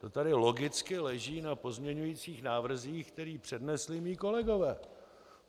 To tady logicky leží na pozměňujících návrzích, které přednesli mí kolegové.